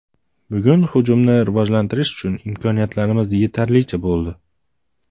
Bugun hujumni rivojlantirish uchun imkoniyatlarimiz yetarlicha bo‘ldi.